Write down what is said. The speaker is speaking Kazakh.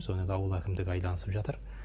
соны енді ауыл әкімдігі айналысып жатыр